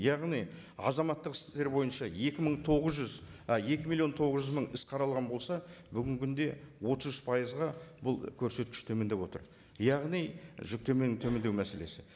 яғни азаматтық істер бойынша екі мың тоғыз жүз і екі миллион тоғыз жүз мың іс қаралған болса бүгінгі күнде отыз үш пайызға бұл көрсеткіш төмендеп отыр яғни жүктеменің төмендеу мәселесі